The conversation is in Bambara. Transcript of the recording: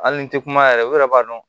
Hali ni tɛ kuma yɛrɛ olu yɛrɛ b'a dɔn